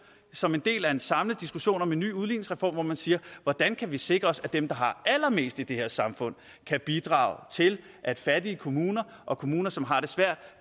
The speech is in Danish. som en del af en samlet diskussion om en ny udligningsreform hvor man siger hvordan kan vi sikre os at dem der har allermest i det her samfund kan bidrage til at fattige kommuner og kommuner som har det svært